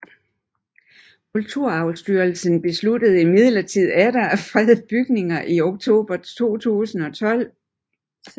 Kulturarvsstyrelsen besluttede imidlertid atter at frede bygningen i oktober 2012